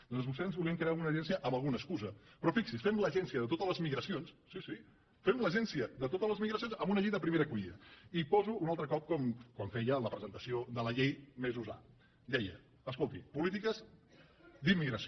doncs vostès volien crear alguna agència amb alguna excusa però fixi’s fem l’agència de totes les migracions sí sí fem l’agència de totes les migracions amb una llei de primera acollida i poso un altre cop com feia en la presentació de la llei mesos ha dia escolti polítiques d’immigració